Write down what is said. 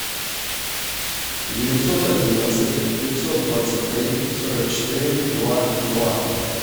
девятьсот одиннадцать пятьсот двадцать три сорок четыре два два